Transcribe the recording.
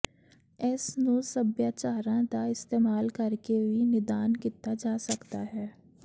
ਇਸ ਨੂੰ ਸੱਭਿਆਚਾਰਾਂ ਦਾ ਇਸਤੇਮਾਲ ਕਰਕੇ ਵੀ ਨਿਦਾਨ ਕੀਤਾ ਜਾ ਸਕਦਾ ਹੈ